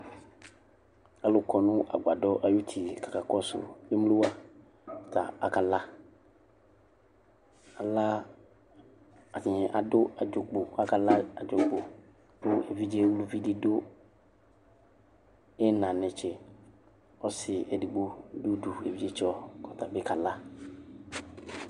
alʋkɔ nʋ agbadɔ ayʋti kaka kɔsʋ emlowa ta akala ala atani adʋ adzogbo kakala adzogbo kʋ evidze ʋlʋvidi dʋ ina netse ɔsi edigbo dʋ ʋdʋ ividzetsɔ kɔtabi kala